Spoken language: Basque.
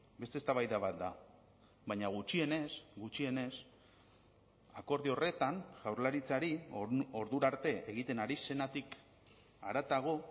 beste eztabaida bat da baina gutxienez gutxienez akordio horretan jaurlaritzari ordura arte egiten ari zenetik haratago